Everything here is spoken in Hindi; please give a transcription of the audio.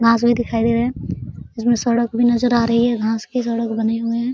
घास भी दिखाई दे रहा है | उसमें सड़क भी नजर आ रही है | घास की सड़क बनी हुई है |